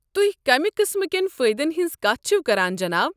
تُہۍ کمہِ قٕسمہٕ کٮ۪ن فٲیدن ہٕنٛز کتھ چھوٕ کران، جناب؟